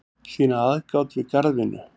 sýna aðgát við garðvinnu